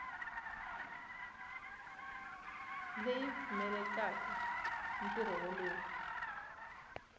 leyi yi pfumelelaka ntirho wolowo